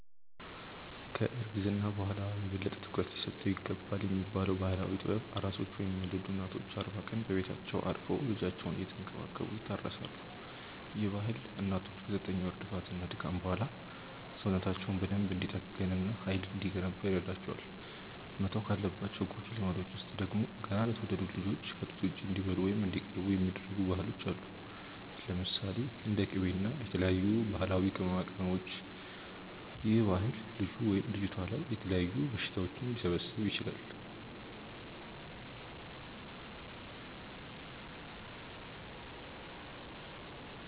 ከ እርግዝና በኋላ የበለጠ ትኩረት ሊሰጠው ይገባልብ የሚባለው ባህላዊ ጥበብ፤ ኣራሶች ወይም የወለዱ እናቶች አርባ ቀን በቤታቸው አርፈው ልጃቸውን እየተንከባከቡ ይታረሳሉ፤ ይህ ባህል እናቶች ከ ዘጠኝ ወር ልፋት እና ድካም በኋላ ሰውነታቸው በደንብ እንዲጠገን እና ሃይል እንዲገነባ ይረዳቸዋል። መተው ካለባቸው ጎጂ ልማዶች ውስጥ ደግሞ፤ ገና ለተወለዱት ልጆች ከ ጡት ውጪ እንዲበሉ ወይም እንዲቀቡ የሚደረጉ ባህሎች አሉ። ለምሳሌ፦ እንደ ቂቤ እና የተለያዩ ባህላዊ ቅመማቅመሞች ይህ ባህል ልጁ/ልጅቷ ላይ የተለያዩ በሽታዎች ሊሰበስብ ይችላል